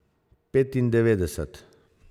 Petindevetdeset.